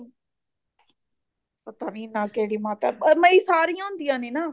ਪਤਾ ਨੀ ਨਾ ਕਿਹੜੀ ਮਾਤਾ ਐ ਮਤਲਬ ਕਿ ਸਾਰੀ ਹੁੰਦੀਆ ਨੇ ਨਾ